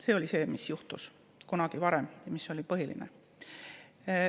See oli see, mis juhtus kunagi varem ja mis oli põhiline.